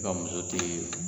I ka muso te ye